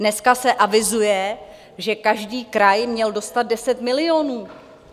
Dneska se avizuje, že každý kraj měl dostat 10 milionů.